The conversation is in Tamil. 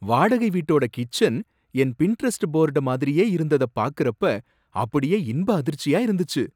வாடகை வீட்டோட கிட்சென் என் பின்ட்ரெஸ்ட் போர்ட மாதிரியே இருந்ததபாக்குறப்ப அப்படியே இன்பஅதிர்ச்சியா இருந்துச்சு!